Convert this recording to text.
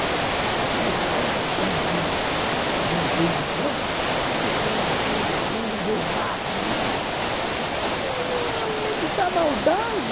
Tem umas senhoras que, quando me veem fazendo coisa de criança, dizem assim, esse velho, sem vergonha, devassa, não sei... Onde é que está a maldade?